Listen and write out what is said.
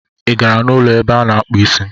ị gara n' ụlọ ebe a na-akpụ isi?